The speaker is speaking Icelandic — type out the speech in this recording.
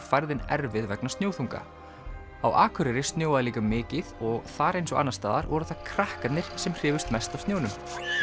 færðin erfið vegna snjóþunga á Akureyri snjóaði líka mikið og þar eins og annars staðar voru það krakkarnir sem hrifust mest af snjónum